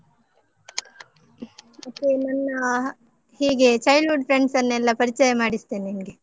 ಮತ್ತೆ ನನ್ನಾ ಹೀಗೆ childhood friends ಅನ್ನೆಲ್ಲ ಪರಿಚಯ ಮಾಡಿಸ್ತೇನೆ ನಿಂಗೆ.